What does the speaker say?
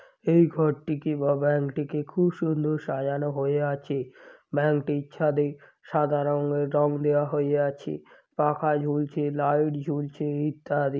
এই ঘরটিকে বা ব্যাংক -টিকে খুব সুন্দর সাজানো হয়ে আছে। ব্যাংক -টির ছাদে সাদা রঙের রং দেওয়া হয়ে আছে। পাখা ঝুলছে লাইট ঝুলছে ইত্যাদি।